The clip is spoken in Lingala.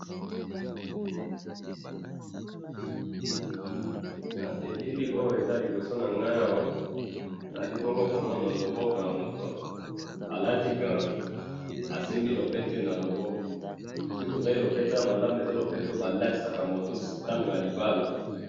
na elili oyo eza liboso na ngai awa, nazali bongo komona loboko ya moto alati gant, asimbi lopete na loboko, soki totali lopete wana malamu, eza lopete oyo ba latisaka moto na tango ya libala